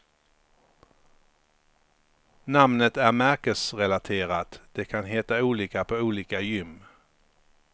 Namnet är märkesrelaterat, det kan heta olika på olika gym.